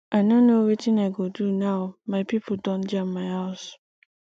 i no know wetin i go do now my pipo don jam my house